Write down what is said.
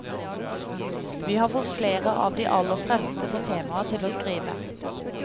Vi har fått flere av de aller fremste på temaet til å skrive.